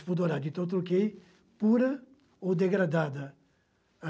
Então, eu troquei pura ou degradada.